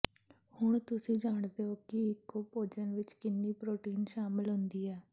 ਹੁਣ ਤੁਸੀਂ ਜਾਣਦੇ ਹੋ ਕਿ ਇੱਕੋ ਭੋਜਨ ਵਿਚ ਕਿੰਨੀ ਪ੍ਰੋਟੀਨ ਸ਼ਾਮਲ ਹੁੰਦਾ ਹੈ